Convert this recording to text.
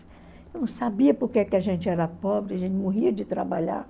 Eu não sabia porque a gente era pobre, a gente morria de trabalhar.